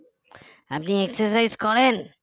আপনি exercise করেন